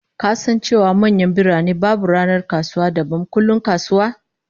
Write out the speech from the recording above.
Ka san cewa a manyan birane, babu ranar kasuwa dabam kullum kasuwa?